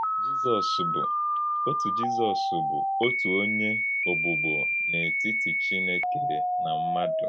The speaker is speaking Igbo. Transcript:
Jízọs bụ̀ “òtù Jízọs bụ̀ “òtù Ònyé Ọ̀gbùgbò n’ètítì Chínèkè nà mmádụ.”